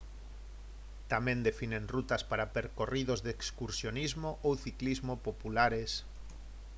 tamén definen rutas para percorridos de excursionismo ou ciclismo populares